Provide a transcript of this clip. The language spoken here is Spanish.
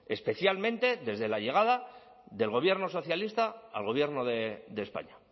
especialmente desde la llegada del gobierno socialista al gobierno de españa